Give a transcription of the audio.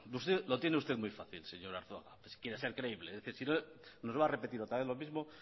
lo tiene usted muy fácil señor arzuaga si quiere ser creíble es decir si no nos va a repetir otra vez lo mismo